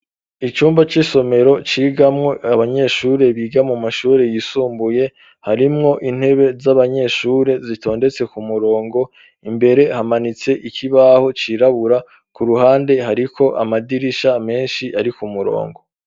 Icumba c'isomero cigamwo abanyeshure biga mu mashure yisumbuye harimwo intebe z'abanyeshure zitondetse ku murongo imbere hamanitse ikibaho cirabura ku ruhande hariko amadirisha menshi ari ku murongo.